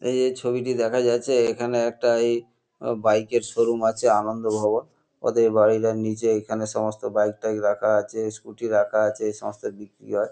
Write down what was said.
এইযে এ ছবিটি দেখা যাচ্ছে এখানে একটা এই অ বাইক -এর শো- রুম আছে আনন্দভবন। ওদের বাড়িটার নীচে এখানে সমস্ত বাইক -টাইক রাখা আছে স্কুটি রাখা আছে এইসমস্ত বিক্রি হয়।